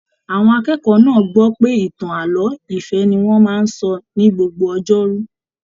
Àwọn akẹ́kọ̀ọ́ náà gbọ pé ìtàn ààlọ́ ìfẹ ní wọn máa n sọ ní gbogbo ọjọ́rú.